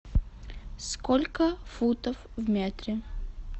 сколько футов в метре